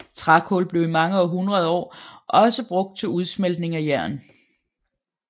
Trækul blev i mange hundreder år også brugt til udsmeltning af jern